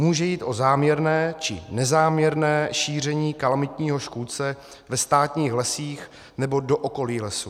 Může jít o záměrné či nezáměrné šíření kalamitního škůdce ve státních lesích nebo do okolí lesů."